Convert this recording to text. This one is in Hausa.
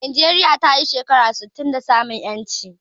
Najeriya tayi shekara sittin da samun ƴanci